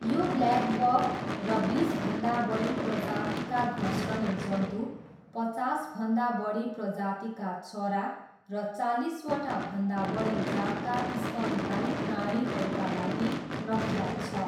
यो ब्ल्याकबक र बिसभन्दा बढी प्रजातिका घस्रने जन्तु, पचासभन्दा बढी प्रजातिका चरा र चालिसवटा भन्दा बढी जातका स्तनधारी प्राणीहरूका लागि प्रख्यात छ।